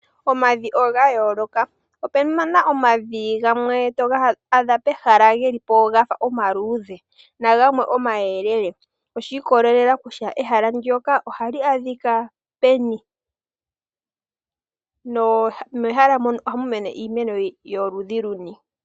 Omavi oga yooloka. Opuna omavi gamwe toga adha pehala gafa geli po omaluudhe nagamwe omayelele . Oshiikolela kutya ehala ndyoka ohali peni, nomehala mono ohamu mene iimeno yoludhi luni.